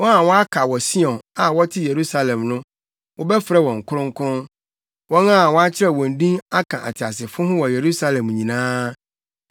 Wɔn a wɔaka wɔ Sion, a wɔte Yerusalem no, wɔbɛfrɛ wɔn kronkron, wɔn a wɔakyerɛw wɔn din aka ateasefo ho wɔ Yerusalem nyinaa.